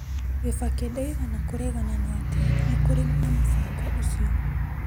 Kibaki ndaigana kũregana na atĩ nĩ kũrĩ na mũbango ũcio.